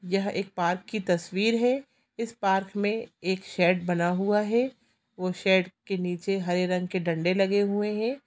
यह एक पार्क की तस्वीर है पार्क में एक सेड बना हुआ है और सेड के निचे हरे रंग के डंडे लगे हुए हैं |